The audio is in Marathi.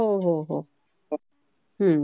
हो, हो, हो, हो.